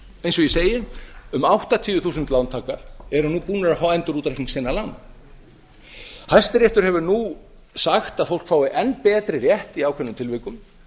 eins og ég segi um áttatíu þúsund lántakar eru nú búnir að fá endurútreikning sinna lána hæstiréttur hefur nú sagt að fólk fái enn betri rétt í ákveðnum tilvikum